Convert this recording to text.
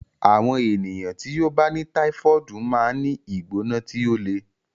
Àwọn ènìyàn tí ó bá ní táífọ̀ọdu máa ń ní ìgbóná tí ó le